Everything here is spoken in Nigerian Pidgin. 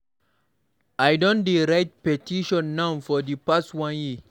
I don dey write petition now for the past one year.